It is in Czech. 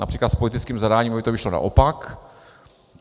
Například s politickým zadáním by to vyšlo naopak.